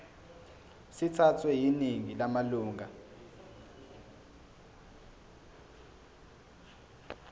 sithathwe yiningi lamalunga